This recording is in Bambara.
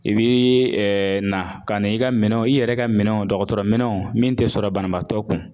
I bi na ka na i ka minɛnw i yɛrɛ ka minɛnw dɔkɔtɔrɔminɛnw min tɛ sɔrɔ banabaatɔ kun